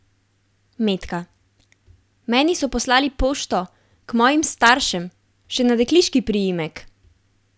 Metka: "Meni so poslali pošto, k mojim staršem, še na dekliški priimek.